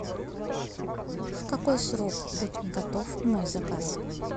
в какой срок будет готов мой заказ